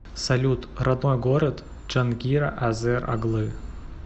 салют родной город джангира азер оглы